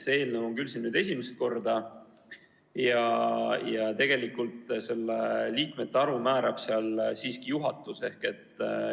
See eelnõu on küll siin esimest korda ja tegelikult selle liikmete arvu määrab siiski juhatus.